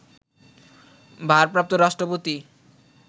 ভারপ্রাপ্ত রাষ্ট্রপতি